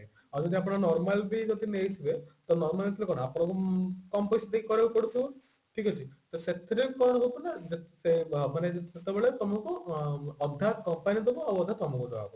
ଆଉ ଯଦି ଆପଣ normal ବି ନେଇଥିବେ ତ normal ଏଥିରେ କଣ ଆପଣ କମ ପଇସା ଦେଇ କାରୋଉ ପଡୁଥିବ ଠିକ ଅଛି ତ ସେଥିରେ କଣ ହେବ ନା ସେ ବ ମାନେ ଯଦି ସେତେବଳେ ତମକୁ ଅ ଅଧା company ଦବ ଆଉ ଅଧା ତମକୁ ଦେବାକୁ ପଡିବ